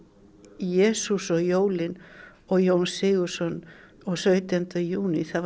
Jesús og jólin og Jón Sigurðsson og sautjándi júní það